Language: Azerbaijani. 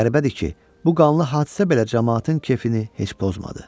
Qəribədir ki, bu qanlı hadisə belə camaatın keyfini heç pozmadı.